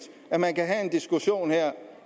at man kan have en diskussion